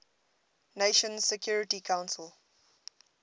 nations security council